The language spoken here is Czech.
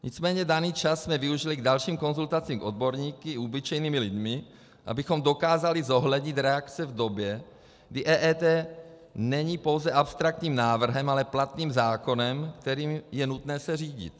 Nicméně daný čas jsme využili k dalším konzultacím s odborníky i obyčejnými lidmi, abychom dokázali zohlednit reakce v době, kdy EET není pouze abstraktním návrhem, ale platným zákonem, kterým je nutné se řídit.